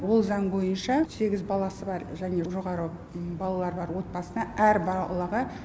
ол заң бойынша сегіз баласы бар және жоғары балалары бар отбасына әр балаға